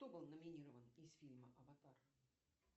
кто был номинирован из фильма аватар